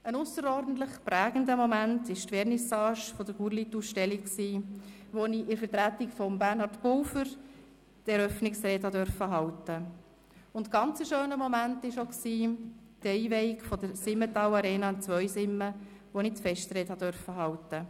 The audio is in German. Ein ausserordentlich prägender Moment war die Vernissage der Gurlitt-Ausstellung, an der ich in Vertretung von Bernhard Pulver die Eröffnungsrede halten durfte, und ein besonders schöner Moment war die Einweihung der Simmental Arena in Zweisimmen, an der ich die Festrede halten durfte.